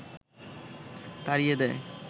তাড়িয়ে দেয়